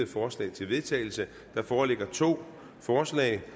forslag til vedtagelse der foreligger to forslag